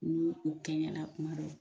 Nii u kɛɲɛna kuma min